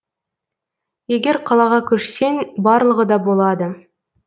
егер қалаға көшсең барлығы да болады